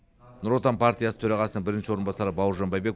нұр отан партиясы төрағасының бірінші орынбасары бауыржан байбек